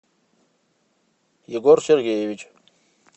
егор сергеевич